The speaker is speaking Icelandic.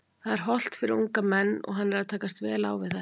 Það er hollt fyrir unga menn og hann er að takast vel á þetta.